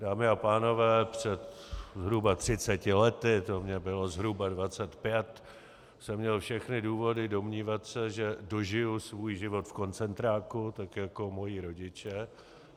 Dámy a pánové, před zhruba 30 lety, to mně bylo zhruba 25, jsem měl všechny důvody domnívat se, že dožiji svůj život v koncentráku tak jako moji rodiče.